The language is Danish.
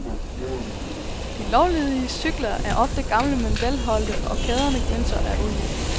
De lovlydiges cykler er ofte gamle men velholdte og kæderne glinser af olie.